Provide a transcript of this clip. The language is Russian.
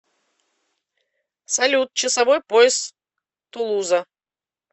салют часовой пояс тулуза